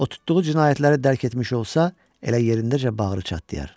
O tutduğu cinayətləri dərk etmiş olsa, elə yerindəcə bağırı çatlayar.